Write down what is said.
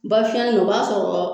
Ba fiyɛnnani o b'a sɔrɔ